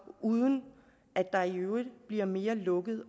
uden at der i øvrigt bliver mere lukket